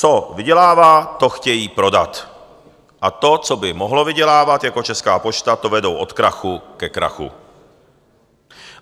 Co vydělává, to chtějí prodat a to, co by mohlo vydělávat, jako Česká pošta, to vedou od krachu ke krachu.